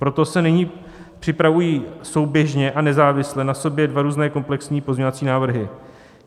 Proto se nyní připravují souběžně a nezávisle na sobě dva různé komplexní pozměňovací návrhy.